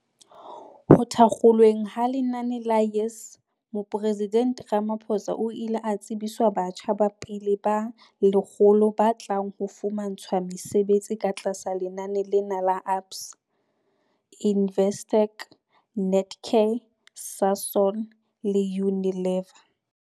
Ho thakgolweng ha lenaneo la YES Moporesidente Ramaphosa o ile a tsebiswa batjha ba pele ba 100 ba tlang ho fumantshwa mesebetsi ka tlasa lenaneo lena ke ABSA, Investec, Netcare, Sasol le Unilever.